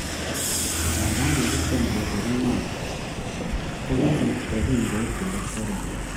Nganda kikitiem kesor inendet, ko kisirto kongoit olekinyoise